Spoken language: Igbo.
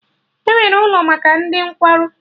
Enwere ụlọ maka ndị nkwarụ